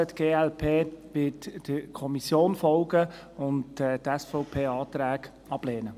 Die glp wird der Kommission folgen und die SVP-Anträge ablehnen.